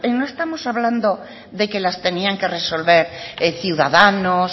no estamos hablando de que las tenían que resolver ciudadanos